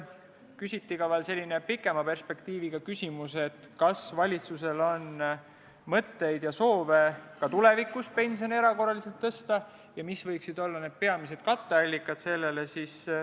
Küsiti ka pikema perspektiiviga küsimus, kas valitsusel on mõtteid ja soove ka tulevikus pensione erakorraliselt tõsta ja mis võiksid olla selle peamised katteallikad.